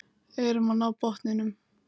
Erum að ná botninum